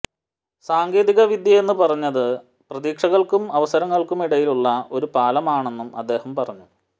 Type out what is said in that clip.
സാങ്കേതിക വിദ്യയെന്നു പറയുന്നത് പ്രതീക്ഷകൾക്കും അവസരങ്ങൾക്കുമിടയ്ക്കുള്ള ഒരു പാലമാണെന്നും അദ്ദേഹം പറഞ്ഞു